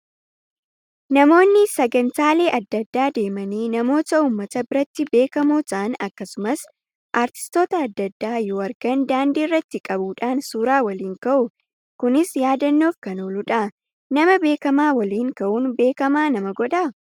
Namoonni sagantaalee adda addaa deemanii namoota uummata biratti beekamoo ta'an akkasumas artistoota adda addaa yoo argan daandii irratti qabuudhaan suuraa waliin ka'u. Kunis yaadannoof kan ooludha. Nama beekamaa waliin ka'uun beekamaa nama godhaa?